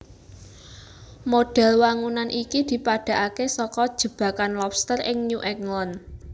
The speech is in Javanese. Modhel wangunan iki dipadhakake saka jebakan lobster ing New England